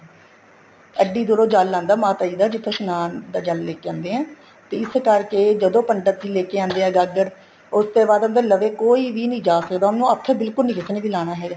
ਐਡੀ ਦੂਰੋ ਜਲ ਆਦਾ ਮਾਤਾ ਜੀ ਦਾ ਜਿੱਥੋ ਇਸ਼ਨਾਨ ਦਾ ਜਲ ਲੈਕੇ ਆਉਦੇ ਹੈ ਤੇ ਇਸ ਕਰਕੇ ਜਦੋਂ ਪੰਡਿਤ ਲੈਕੇ ਆਦੇ ਹੈ ਗਾਗਰ ਉਸ ਤੋਂ ਬਾਅਦ ਉਹਨੇ ਦੇ ਲਵੇ ਕੋਈ ਵੀ ਨਹੀਂ ਜਾਂ ਸਕਦਾ ਉਹਨੂੰ ਹੱਥ ਬਿਲਕੁਲ ਵੀ ਕਿਸੇ ਨੇ ਵੀ ਲਾਣਾ ਹੈਗਾ